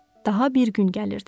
Daha bir gün gəlirdi.